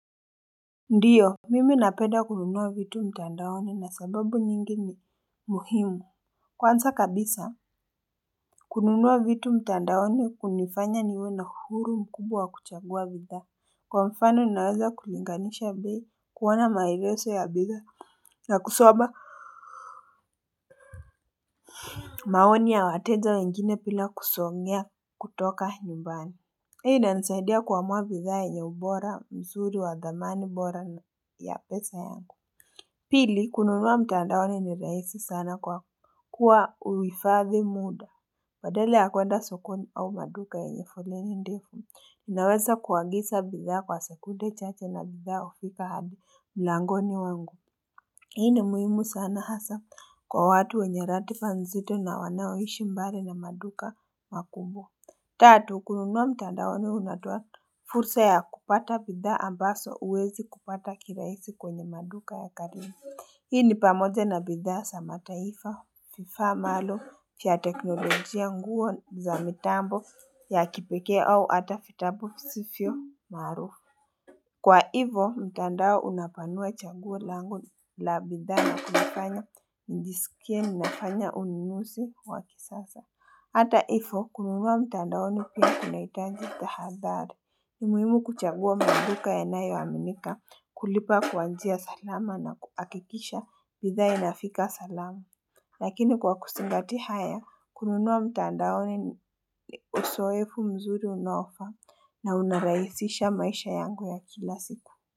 Ndiyo, mimi napenda kununua vitu mtandaoni na sababu nyingi ni muhimu. Kwanza kabisa, kununua vitu mtandaoni hunifanya niwe na uhuru mkubwa wa kuchagua bidhaa. Kwa mfano, ninaweza kulinganisha bei, kuona maegezo ya bidhaa, na kusoma maoni ya wateja wengine bila kusongea kutoka nyumbani. Pia inanisaidia kuamua bidhaa yenye ubora mzuri wa dhamani bora na ya pesa yangu. Pili kununua mtandaoni ni rahisi sana kwa kuwa uhifadhi muda badala ya kwenda sokoni au maduka yenye foleni ndefu unaweza kuagisa bidhaa kwa sekunde chache na bidhaa hufika hadi mlangoni wangu hii ni muhimu sana hasa kwa watu wenye ratifa nzito na wanaoishi mbali na maduka makubwa tatu kununua mtandaoni unatoa fursa ya kupata bidhaa ambazo huwezi kupata kirahisi kwenye maduka ya karibu. Hii ni pamoja na bidhaa za mataifa, vifaa maalum vya teknolojia nguo za mitambo ya kipekee au ata vitabu visivyo maarufu. Kwa hivyo, mtandao unapanua chaguo langu la bidhaa na kunifanya njisikie nimefanya ununuzi wa kisasa. Hata hivyo, kununua mtandaoni pia kunahitaji tahadhari. Ni muhimu kuchagua maduka yanayo aminika kulipa kwa njia salama na kuhakikisha bidhaa inafika salama Lakini kwa kuzingatia haya kununua mtandaoni ni uzoefu mzuri unaofaa na unarahisisha maisha yangu ya kila siku.